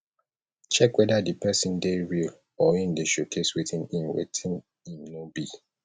check whether di persin de real or im de showcase wetin im wetin im no be